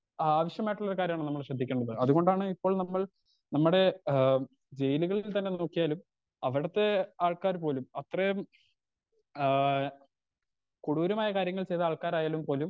ആവശ്യമായിട്ടുളൊരു കാര്യാണ് നമ്മൾ ശ്രേധിക്കേണ്ടത് അതുകൊണ്ടാണ് ഇപ്പോൾ നമ്മൾ നമ്മടെ ഏഹ് ജയിലുകളിൽ തന്നെ നോക്കിയാലും അവിടത്തെ ആൾകാർ പോലും അത്രേം ആ കൊടൂരമായ കാര്യങ്ങൾ ചെയ്ത ആൾകാരായാലും പോലും